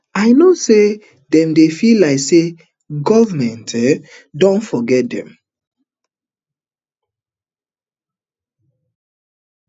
um i know say dem dey feel like say goment um don forget dem